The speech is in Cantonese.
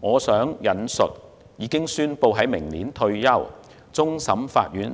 我想引述已宣布明年退休的終審法院